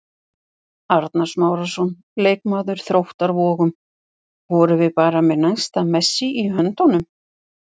Arnar Smárason, leikmaður Þróttar Vogum: Vorum við bara með næsta Messi í höndunum?